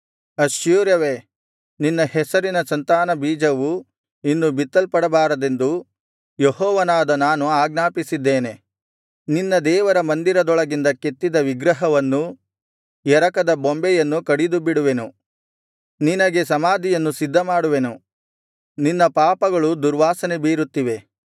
ಅಶ್ಶೂರವೇ ನಿನ್ನ ಹೆಸರಿನ ಸಂತಾನ ಬೀಜವು ಇನ್ನು ಬಿತ್ತಲ್ಪಡಬಾರದೆಂದು ಯೆಹೋವನಾದ ನಾನು ಆಜ್ಞಾಪಿಸಿದ್ದೇನೆ ನಿನ್ನ ದೇವರ ಮಂದಿರದೊಳಗಿಂದ ಕೆತ್ತಿದ ವಿಗ್ರಹವನ್ನೂ ಎರಕದ ಬೊಂಬೆಯನ್ನೂ ಕಡಿದುಬಿಡುವೆನು ನಿನಗೆ ಸಮಾಧಿಯನ್ನು ಸಿದ್ಧಮಾಡುವೆನು ನಿನ್ನ ಪಾಪಗಳು ದುರ್ವಾಸನೆ ಬೀರುತ್ತಿವೆ